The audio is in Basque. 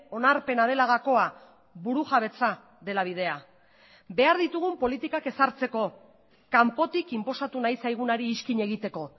onarpena dela gakoa burujabetza dela bidea behar ditugun politikak ezartzeko kanpotik inposatu nahi zaigunari iskin egiteko